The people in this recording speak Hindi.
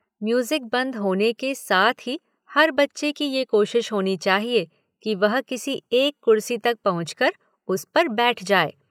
म्यूज़िक बंद होने के साथ ही हर बच्चे की ये कोशिश होनी चाहिए कि वह किसी एक कुर्सी तक पहुँच कर उस पर बैठ जाए।